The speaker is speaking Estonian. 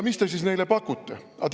Mis te siis neile pakute?